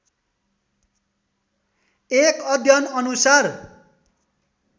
एक अध्ययन अनुसार